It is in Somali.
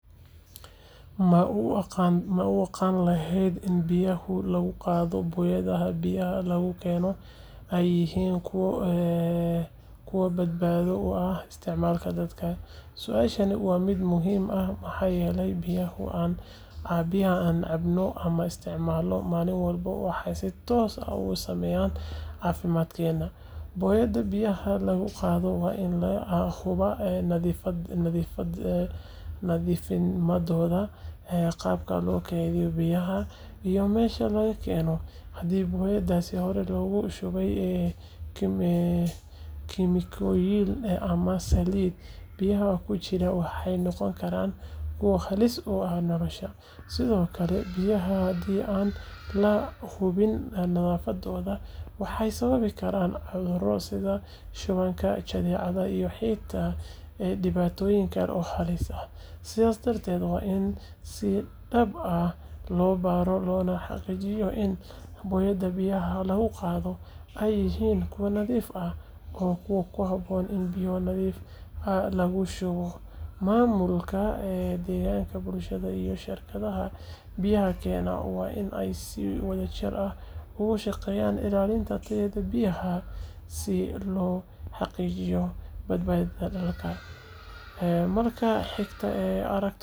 Ma u aqan lahed in biyahu lagu qadho boyaadaha biyaha lagu keno ee yihin kuwa bad bado u ah isticmalka dadka, suashani waa miid muhiim ah waxaa yele biyaha aan cabno ama an isticmalno malin walba waxee si tos ah usameyan cafimaad kena wayo biyaha hadi lagu qadho waa in la nadhifiya qibta lagu kedhiyo biyaha iyo mesha laga keno hadii boyadasi hore logu shube kemikoyin aa biya kujiro waxee noqon karan kuwa halis u ah nolasha sithokale biyaha nadhafaada waxee sawabi karan cudhuro sitha jadecadha iyo diwatoyin kale oo halis ah sas darteed waa in si dab ah lo baro lona xaqijiyo in boyaada biyaha ee yihin kuwa nadhiif ah mamulka ee deganka bulshaada biyaha waa in kushaqeyan ilalinta biyaha si lo xaqijiyo bad badaha ee marka xigta.